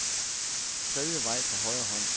Tredje vej på højre hånd.